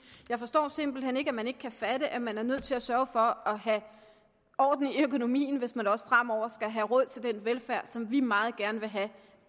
jeg forstår simpelt hen ikke at man ikke kan fatte at man er nødt til at sørge for at have orden i økonomien hvis man også fremover skal have råd til den velfærd som vi meget gerne vil have